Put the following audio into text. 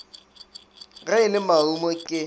ge e le marumo ke